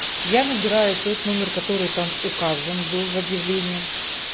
я набираю тот номер который там указан был в объявлении